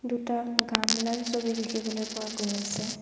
দুটা গামলাৰ ছবি দেখিবলৈ পোৱা গৈ আছে।